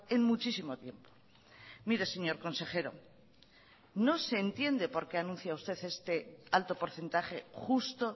en muchísimo tiempo mire señor consejero no se entiende por qué anuncia usted este alto porcentaje justo